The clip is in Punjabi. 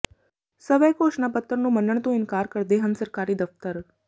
ਸਵੈ ਘੋਸ਼ਣਾ ਪੱਤਰ ਨੂੰ ਮੰਨਣ ਤੋਂ ਇਨਕਾਰ ਕਰਦੇ ਹਨ ਸਰਕਾਰੀ ਦਫ਼ਤਰ